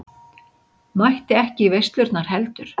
Mætti ekki í veislurnar heldur.